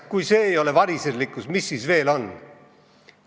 Kui see ei ole variserlikkus, mis see siis veel on?